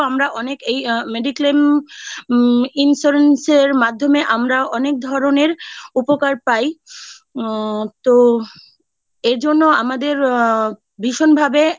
আমরা অনেকেই mediclaim insurance মাধ্যমে আমরা অনেক ধরনের উপকার পাই আ তো এর জন্য আমাদের আ ভীষণ ভাবে